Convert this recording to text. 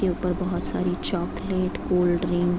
उनके ऊपर बहुत सारे चॉकलेट कोल्डड्रिंक ।